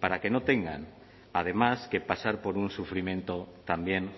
para que no tengan además que pasar por un sufrimiento también